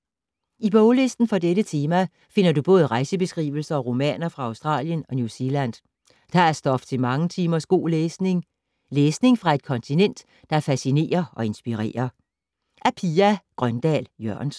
I boglisten for dette tema finder du både rejsebeskrivelser og romaner fra Australien og New Zealand. Der er stof til mange timers god læsning. Læsning fra et kontinent, der fascinerer og inspirerer.